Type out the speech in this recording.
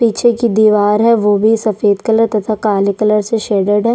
पीछे की दिवार है वो भी सफ़ेद कलर तथा काले कलर से शेडेड है।